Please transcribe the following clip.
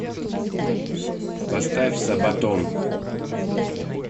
поставь сабатон